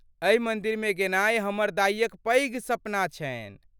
एहि मन्दिरमे गेनाइ हमर दाइक पैघ सपना छनि।